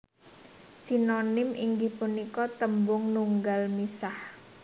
Sinonim inggih punika tembung nunggal misah